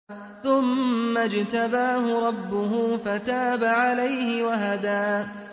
ثُمَّ اجْتَبَاهُ رَبُّهُ فَتَابَ عَلَيْهِ وَهَدَىٰ